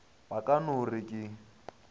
ba ka no re ke